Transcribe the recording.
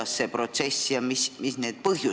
Miks see protsess algas ja mis on need põhjused?